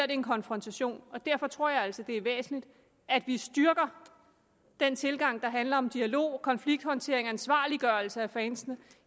en konfrontation derfor tror jeg altså det er væsentligt at vi styrker den tilgang der handler om dialog konflikthåndtering og ansvarliggørelse af fansene